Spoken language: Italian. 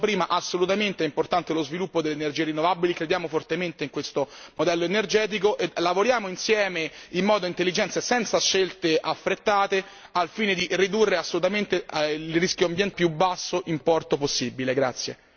Quindi, come dicevo prima, assolutamente è importante lo sviluppo delle energie rinnovabili, crediamo fortemente in questo modello energetico e lavoriamo insieme in modo intelligente e senza scelte affrettate, al fine di ridurre il rischio ambientale al più basso livello possibile.